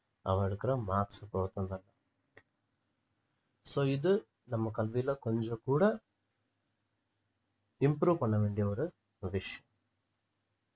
அவன் எடுக்கிற marks க்கு பொருத்து அல்ல so இது நம்ம கல்வியில கொஞ்சம் கூட improve பண்ண வேண்டிய ஒரு